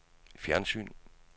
fjernsyn